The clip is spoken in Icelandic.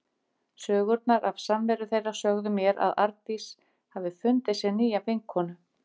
Sögurnar af samveru þeirra sögðu mér að Arndís hafði fundið sér nýja vinkonu.